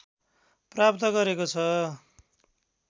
प्राप्त गरेको छ